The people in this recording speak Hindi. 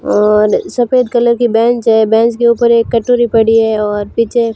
और सफेद कलर की बैंच हैं। बैंच के ऊपर एक कटोरी पड़ी है और पीछे--